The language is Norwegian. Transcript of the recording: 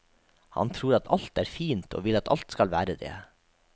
Han tror at alt er fint og vil at alt skal være det.